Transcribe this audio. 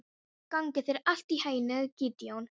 Gangi þér allt í haginn, Gídeon.